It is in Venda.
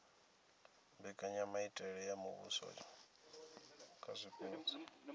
mbekanyamitele ya muvhuso kha zwipotso